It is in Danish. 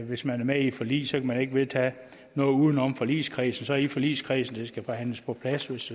hvis man er med i et forlig så kan der ikke vedtages noget uden om forligskredsen så er det i forligskredsen det skal forhandles på plads hvis